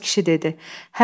Ələbbas kişi dedi.